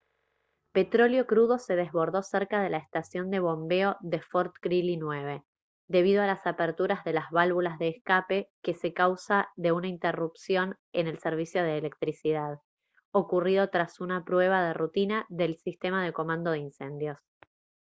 petróleo crudo se desbordó cerca de la estación de bombeo de fort greely 9 debido a la apertura de las válvulas de escape que se a causa de una interrupción en el servicio de electricidad ocurrido tras una prueba de rutina del sistema de comando de incendios